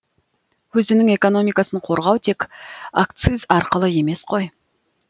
өзінің экономикасын қорғау тек акциз арқылы емес қой